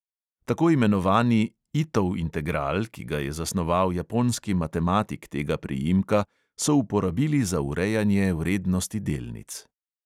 Tako imenovani itov integral, ki ga je zasnoval japonski matematik tega priimka, so uporabili za urejanje vrednosti delnic.